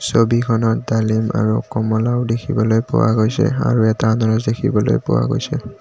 ছবিখনত ডালিম আৰু কমলাও দেখিবলৈ পোৱা গৈছে আৰু এটা আনাৰচ দেখিবলৈ পোৱা গৈছে।